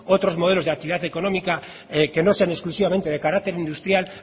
otros modelos de actividad económica que no sean exclusivamente de carácter industrial